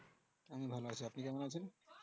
আমি ভালো আছি আপনি কেমন আছেন?